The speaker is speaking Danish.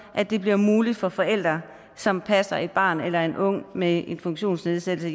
at det bliver muligt for forældre som passer et barn eller en ung med en funktionsnedsættelse